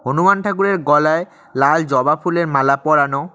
হনুমান ঠাকুরের গলায় লাল জবা ফুলের মালা পরানো।